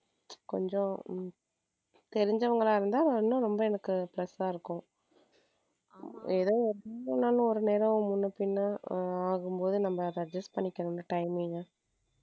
கொஞ்சம தெரிஞ்சவங்களா இருந்தா இன்னும் ரொம்ப plus ஆ இருக்கும் எனக்கு ஏதோ நேரம் முன்ன பின்ன ஆகும்போது நம்ம அத adjust பண்ணிக்கலாம் timing